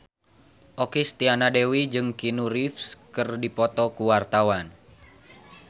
Okky Setiana Dewi jeung Keanu Reeves keur dipoto ku wartawan